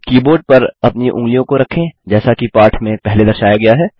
keyboard पर अपनी ऊँगलियों को रखें जैसा कि पाठ में पहले दर्शाया गया है